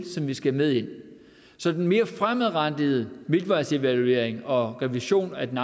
som vi skal have med ind så den mere fremadrettede midtvejsevaluering og revision af den